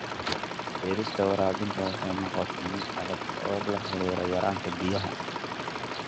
Beerista waraabinta waxay noqotay mid adag sababo la xiriira yaraanta biyaha.